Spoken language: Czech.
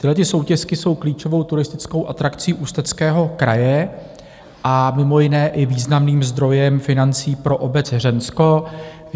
Tyhlety soutěsky jsou klíčovou turistickou atrakcí Ústeckého kraje a mimo jiné i významným zdrojem financí pro obec Hřensko.